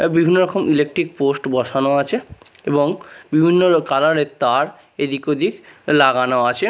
এ বিভিন্ন রকম electric post বসানো আছে এবং বিভিন্ন কালার -এর তার এদিক ওদিক লাগানো আছে।